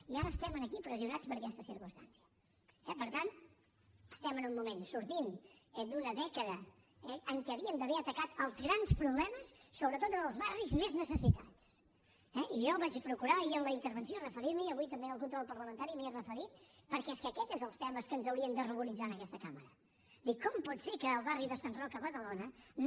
i ara estem aquí pressionats per aquesta circumstància eh per tant estem en un moment sortint d’una dècada en què hauríem d’haver atacat els grans problemes sobretot en els barris més necessitats eh i jo vaig procurar ahir en la intervenció referir m’hi i avui també en el control parlamentari m’hi he referit perquè és que aquest és dels temes que ens haurien de ruboritzar en aquesta cambra dir com pot ser que al barri de sant roc a badalona no